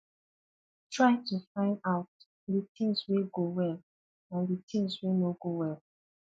try to find out di things wey go well and di things wey no go well